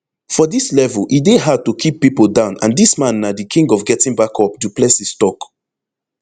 for dis level e dey hard to keep pipo down and dis man na di king of getting back up du plessis tok